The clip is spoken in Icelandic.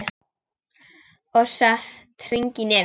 Og sett hring í nefið.